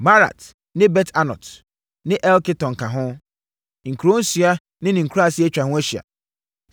Maarat ne Bet-Anot ne Eltekon ka ho, nkuro nsia ne ne nkuraaseɛ atwa ho ahyia.